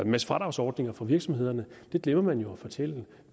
masse fradragsordninger for virksomhederne det glemmer man jo at fortælle